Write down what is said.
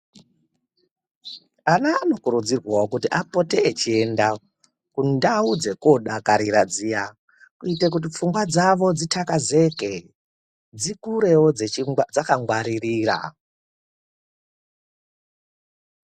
Ana anokurudzirwawo kuti apote echienda kundau dzekuodakarira dziya kuite kuti pfungwa dzavo dzixakazeke, dzikurewo dzakangwaririra.